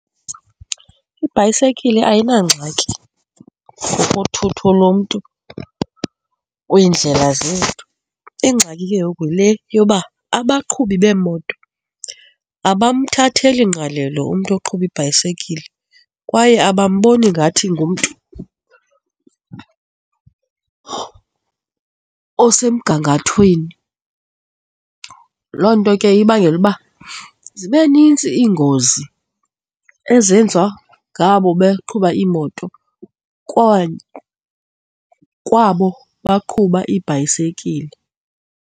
Ibhayisekile ayinangxaki ngokothutho lomntu kwiindlela zethu. Ingxaki ke ngoku yile yoba abaqhubi beemoto abamthatheli ngqalelo umntu oqhuba ibhayisekile kwaye abamboni ngathi ngumntu osemgangathweni. Loo nto ke ibangela uba zibe nintsi iingozi ezenziwa ngabo baqhuba iimoto kwabo baqhuba iibhayisekile.